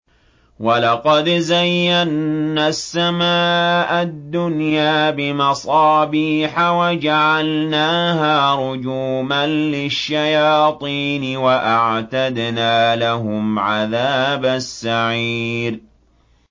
وَلَقَدْ زَيَّنَّا السَّمَاءَ الدُّنْيَا بِمَصَابِيحَ وَجَعَلْنَاهَا رُجُومًا لِّلشَّيَاطِينِ ۖ وَأَعْتَدْنَا لَهُمْ عَذَابَ السَّعِيرِ